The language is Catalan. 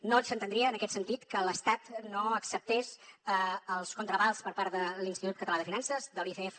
no s’entendria en aquest sentit que l’estat no acceptés els contraavals per part de l’institut català de finances de l’icf